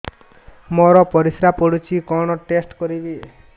ମୋର ପରିସ୍ରା ପୋଡୁଛି କଣ ଟେଷ୍ଟ କରିବି